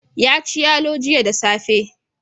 Ya ci yalo jiya da safe.